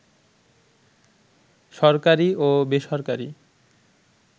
সরকারি ও বেসরকারি